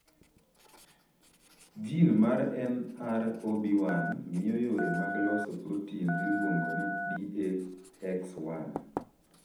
Jin mar NR0B1 miyo yore mag loso protin miluongo ni DAX1.